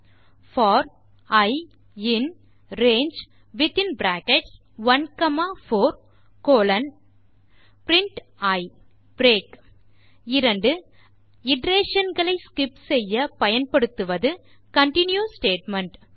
colon colon for i in range within bracket 1 comma 4 colon print i break iteration களை skip செய்ய பயன்படுத்துவது continue statement